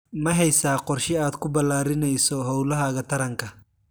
Ma haysaa qorshe aad ku balaadhinayso hawlahaaga taranka?